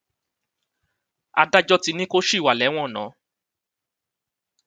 adájọ ti ní kó ṣì wà lẹwọn ná